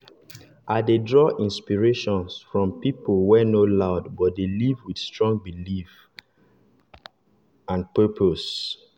i dey draw inspiration from people wey no loud but dey live with strong belief and purpose.